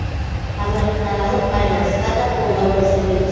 парламентаралық байланысқа да қолдау көрсетеміз